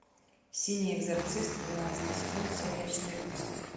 синий экзорцист двенадцатый сезон серия четырнадцать